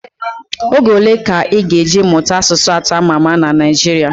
Oge ole ka ị ga eji mụta asụsụ atọ ama ama na Naijiria